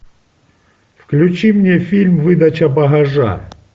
включи мне фильм выдача багажа